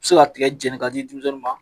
I bɛ se ka tigɛ jɛni ka di denmisɛnw ma.